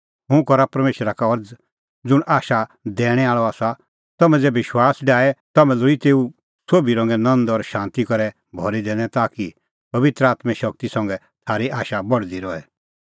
हुंह करा परमेशरा का अरज़ ज़ुंण आशा दैणैं आल़अ आसा तम्हैं ज़ै विश्वास डाहे ता तम्हैं लोल़ी तेऊ सोभी रंगे नंद और शांती करै भरी दैनै ताकि पबित्र आत्में शगती संघै थारी आशा बढदी रहे